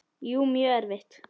Jú, mjög erfitt.